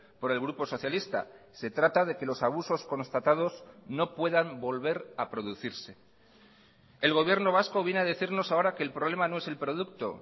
por el grupo socialista se trata de que los abusos constatados no puedan volver a producirse el gobierno vasco viene a decirnos ahora que el problema no es el producto